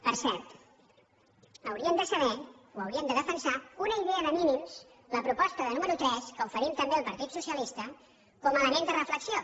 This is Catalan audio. per cert haurien de saber o haurien de defensar una idea de mínims la proposta número tres que oferim també al partit socialista com a element de reflexió